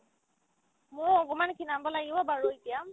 মোও অকনমান খীনাব লাগিব বাৰু এতিয়া